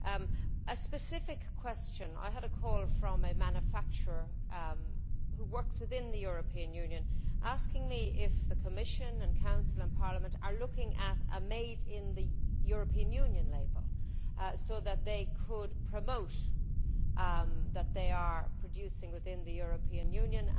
One specific question I had a call from a manufacturer who works within the European Union asking me if the Commission, Council and Parliament are looking at a made in the European Union' label which would enable them to promote the fact that they are producing within the European Union.